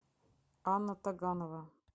анна таганова